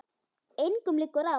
Engum liggur á.